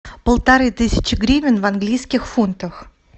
полторы тысячи гривен в английских фунтах